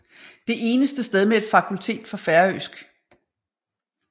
Det eneste sted med et fakultet for færøsk